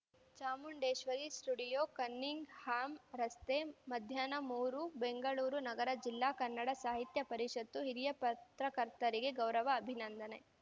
Chamundeshwari studio Cunningham ರಸ್ತೆ ಮಧ್ಯಾಹ್ನ ಮೂರು ಬೆಂಗಳೂರು ನಗರ ಜಿಲ್ಲಾ ಕನ್ನಡ ಸಾಹಿತ್ಯ ಪರಿಷತ್ತು ಹಿರಿಯ ಪತ್ರಕರ್ತರಿಗೆ ಗೌರವ ಅಭಿನಂದನೆ